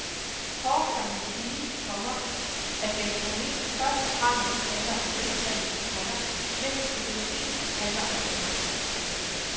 Kort kan man sige, komma at gastronomi først og fremmest handler om velsmag, komma mens økologi handler om sundhed. punktum